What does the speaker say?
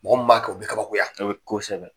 Mɔgɔ mun b'a kɛ, o bi kabakoya. kosɛbɛ